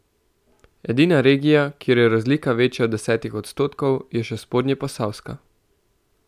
Edina regija, kjer je razlika večja od desetih odstotkov, je še spodnjeposavska.